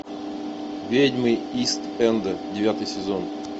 ведьмы ист энда девятый сезон